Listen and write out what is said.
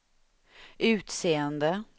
utseende